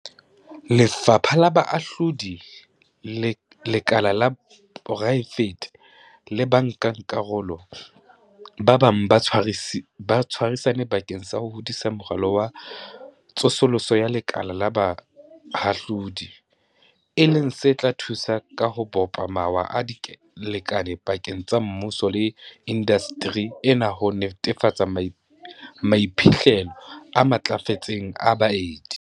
Lefapha la Bohahlaudi, lekala la poraefete le bankakarolo ba bang ba tshwarisane bakeng sa ho hodisa Moralo wa Tsosoloso ya Lekala la Bohahlaudi, e leng se tla thusa ka ho bopa mawa a dilekane pakeng tsa mmuso le indasteri ena ho netefatsa maiphihlelo a matlafetseng a baeti.